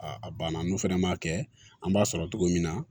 a banna n'u fɛnɛ m'a kɛ an b'a sɔrɔ togo min na